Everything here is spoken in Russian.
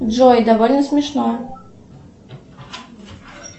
джой довольно смешно